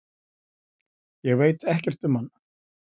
Ég veit ekkert um hann